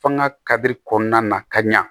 F'an ga kari kɔnɔna na ka ɲa